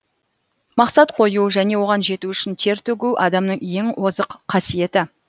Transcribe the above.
мақсат қою және оған жету үшін тер төгу адамның ең озық қасиеті